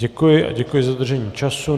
Děkuji a děkuji za dodržení času.